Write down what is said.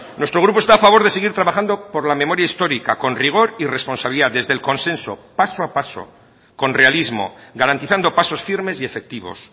nuestro grupo está a favor de seguir trabajando por la memoria histórica con rigor y responsabilidad desde el consenso paso a paso con realismo garantizando pasos firmes y efectivos